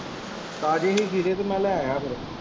ਤਾਜੇ ਹੀ ਖੀਰੇ ਤੇ ਮੈਂ ਲੈ ਆਇਆ ਫਿਰ।